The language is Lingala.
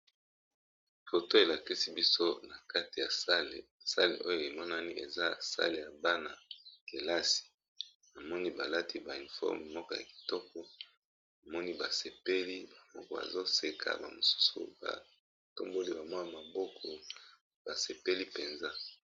Photo elakisi biso eza na kati ya salle , emonani eza ya Bana ya kilasi namoni balati ba uniforme moko ya kitoko pe basepeli bazo seka ba misusu pe ba tomboli maboko.